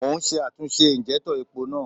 Mò ún ṣe àtúnṣe ìnjẹ́úntọ̀ epo náà